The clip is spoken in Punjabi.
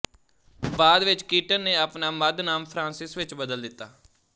ਬਾਅਦ ਵਿੱਚ ਕੀਟਨ ਨੇ ਆਪਣਾ ਮੱਧ ਨਾਮ ਫ੍ਰਾਂਸਿਸ ਵਿੱਚ ਬਦਲ ਦਿੱਤਾ